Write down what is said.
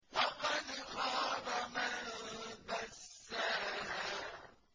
وَقَدْ خَابَ مَن دَسَّاهَا